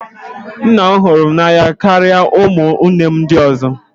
Nna m hụrụ m n'anya karịa ụmụnne m ndị ọzọ